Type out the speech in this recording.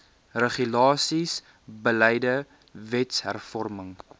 regulasies beleide wetshervorming